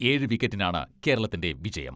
ഏഴ് വിക്കറ്റിനാണ് കേരളത്തിന്റെ വിജയം.